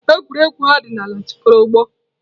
Egwuregwu ọdịnala jikọtara ọgbọ.